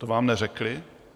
To vám neřekli?